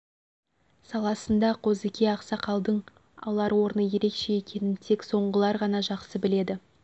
саласында қозыке ақсақалдың алар орны ерекше екенін тек сондағылар ғана жақсы біледі